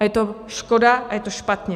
A je to škoda a je to špatně.